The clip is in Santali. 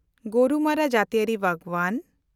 ᱜᱳᱨᱩᱢᱟᱨᱟ ᱡᱟᱹᱛᱤᱭᱟᱹᱨᱤ ᱵᱟᱜᱽᱣᱟᱱ